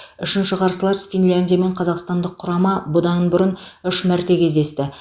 үшінші қарсылас финляндиямен қазақстандық құрама бұдан бұрын үш мәрте кездесті